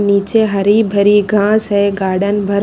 निचे हरि भारी घास हैं गार्डन भर।